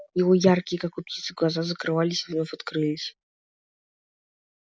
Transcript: его яркие как у птицы глаза закрывались и вновь открылись